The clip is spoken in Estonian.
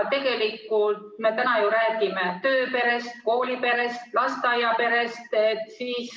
Tegelikult me täna räägime ju tööperest, kooliperest, lasteaiaperest.